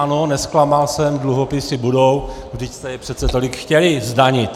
Ano, nezklamal jsem, dluhopisy budou, vždyť jste je přece tolik chtěli zdanit.